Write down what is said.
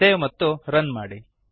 save ಮತ್ತು run ಮಾಡಿ